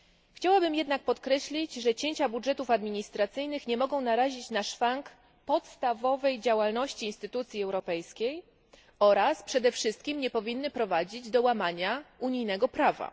Chciałabym jednak podkreślić, że cięcia budżetów administracyjnych nie mogą narazić na szwank podstawowej działalności instytucji europejskiej oraz przede wszystkim nie powinny prowadzić do łamania unijnego prawa.